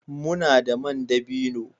Muna da man dabino